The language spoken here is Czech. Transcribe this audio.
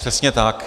Přesně tak.